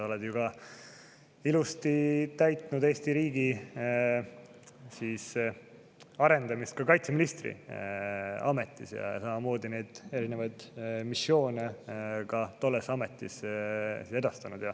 Oled ju ilusti täitnud Eesti riigi arendamise ka kaitseministri ametis ja samamoodi neid missioone tolles ametis edastanud.